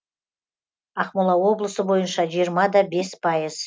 ақмола облысы бойынша жиырма да бес пайыз